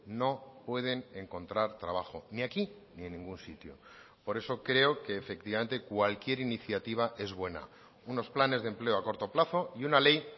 no pueden encontrar trabajo ni aquí ni en ningún sitio por eso creo que efectivamente cualquier iniciativa es buena unos planes de empleo a corto plazo y una ley